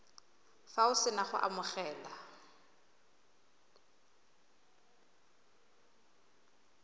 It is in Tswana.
fa o sena go amogela